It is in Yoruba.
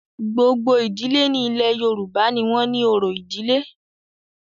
Gbogbo ìdílé ní ilẹ̀ Yorùbá ní wọ́n ni orò ìdílé.